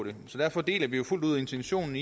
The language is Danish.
det så derfor deler vi fuldt ud intentionen